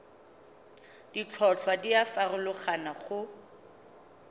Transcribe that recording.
ditlhotlhwa di a farologana go